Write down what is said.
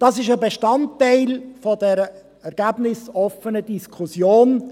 Das ist ein Bestandteil dieser ergebnisoffenen Diskussion.